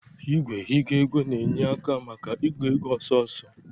Igwe ịgụ ego na-enye aka maka ịgụ ego ọsọọsọ